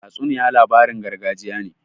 Tatsuniya labarin gargajiya ne.